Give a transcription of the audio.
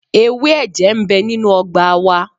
Ewé ẹ̀jẹ̀ ń bẹ nínú ọgbà wa.